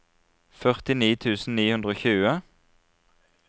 førtini tusen ni hundre og tjue